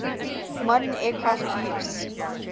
modern aircraft use